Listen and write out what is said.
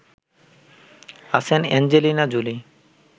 আছেন Angelina Jolie